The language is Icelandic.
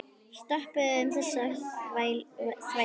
Stoppum þessa þvælu.